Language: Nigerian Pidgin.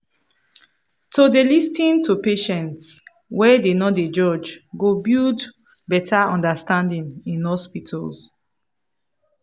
to dey lis ten to patients wey dem no dey judge go build better understanding in hospitals.